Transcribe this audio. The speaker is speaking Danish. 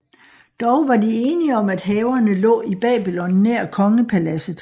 Dog var de enige om at haverne lå i Babylon nær kongepaladset